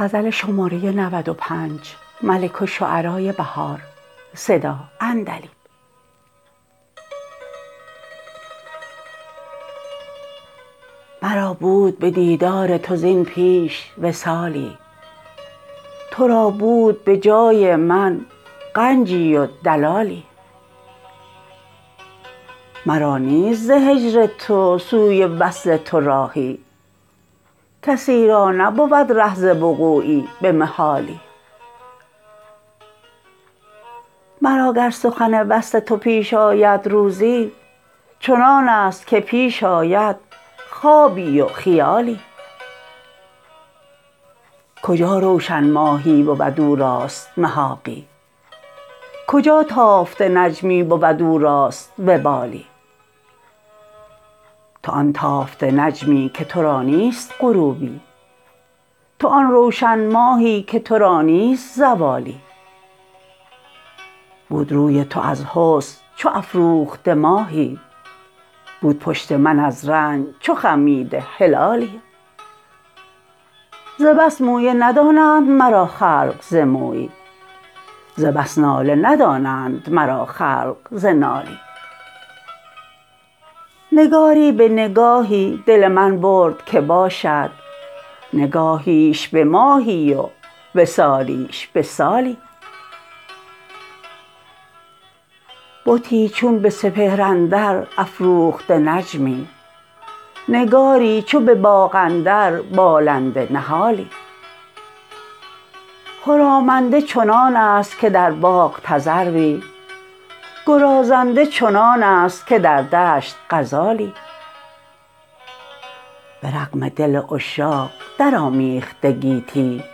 مرا بود به دیدار تو زین پیش وصالی تو را بود به جای من غنجی و دلالی مرا نیست ز هجر تو سوی وصل تو راهی کسی رانبود ره ز وقوعی به محالی مرا گر سخن وصل تو پیش آید روزی چنانست که پیش آید خوابی و خیالی کجا روشن ماهی بود او راست محاقی کجا تافته نجمی بود او راست وبالی تو آن تافته نجمی که تو را نیست غروبی تو آن روشن ماهی که تو را نیست زوالی بود روی تو از حسن چو افروخته ماهی بود پشت من از رنج چو خمیده هلالی ز بس مویه ندانند مرا خلق ز مویی ز بس ناله ندانند مرا خلق ز نالی نگاری به نگاهی دل من برد که باشد نگاهیش به ماهی و وصالیش به سالی بتی چون به سپهر اندر افروخته نجمی نگاری چو به باغ اندر بالنده نهالی خرامنده چنانست که در باغ تذروی گرازنده چنانست که در دشت غزالی به رغم دل عشاق درآمیخته گیتی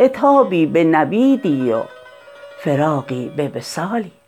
عتابی به نویدی و فراقی به وصالی